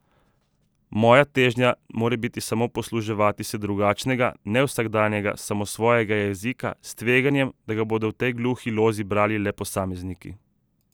Moja težnja more biti samo posluževati se drugačnega, nevsakdanjega, samosvojega jezika, s tveganjem, da ga bodo v tej gluhi lozi brali le posamezniki.